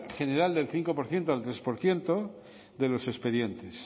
general del cinco por ciento al tres por ciento de los expedientes